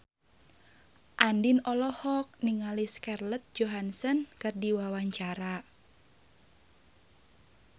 Andien olohok ningali Scarlett Johansson keur diwawancara